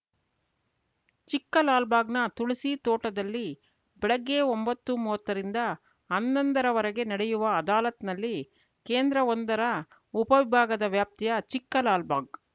ಚಿಕ್ಕಲಾಲ್‌ಬಾಗ್‌ನ ತುಳಸಿ ತೋಟದಲ್ಲಿ ಬೆಳಗ್ಗೆ ಒಂಬತ್ತುಮೂವತ್ತರಿಂದ ಹನ್ನೊಂದರವರೆಗೆ ನಡೆಯುವ ಅದಾಲತ್‌ನಲ್ಲಿ ಕೇಂದ್ರಒಂದರ ಉಪವಿಭಾಗದ ವ್ಯಾಪ್ತಿಯ ಚಿಕ್ಕಲಾಲ್‌ಬಾಗ್‌